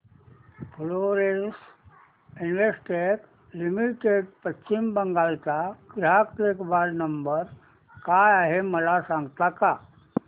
Florence Investec limited Paschim Bengal चा ग्राहक देखभाल नंबर काय आहे मला सांगता का